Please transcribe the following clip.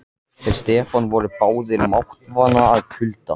Þeir Stefán voru báðir máttvana af kulda.